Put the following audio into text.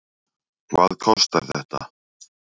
Hvað kostar þetta?